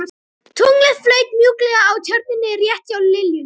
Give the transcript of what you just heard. Tunglið flaut mjúklega á Tjörninni rétt hjá liljunni.